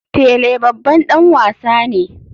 Pele babban dan wasa ne.